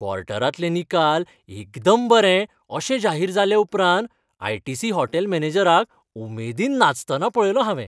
क्वॉर्टरांतलें निकाल एकदम बरे अशें जाहीर जाल्याउपरांत आय. टी. सी. हॉटेल मॅनेजराक उमेदीन नाचतना पळयलो हांवें.